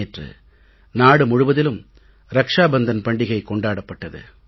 நேற்று நாடு முழுவதிலும் ரக்ஷா பந்தன் பண்டிகை கொண்டாடப்பட்டது